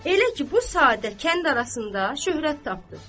Elə ki, bu sadə kənd arasında şöhrət tapdı.